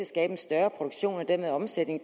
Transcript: skabe en større produktion og dermed omsætning i